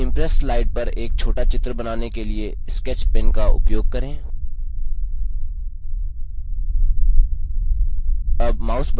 एक impress slide पर एक छोटा चित्र बनाने के लिए sketch pen का उपयोग करें